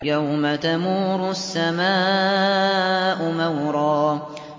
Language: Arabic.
يَوْمَ تَمُورُ السَّمَاءُ مَوْرًا